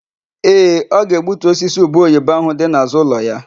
Ee, ọ ga-egbutu osisi ubeoyibo áhụ̀ dị n'àzụ́ ụlọ ya.